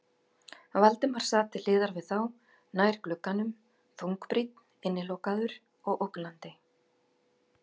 Valdimar sat til hliðar við þá, nær glugganum, þungbrýnn, innilokaður og ógnandi.